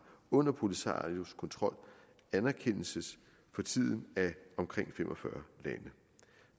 under polisarios kontrol anerkendes for tiden af omkring fem og fyrre lande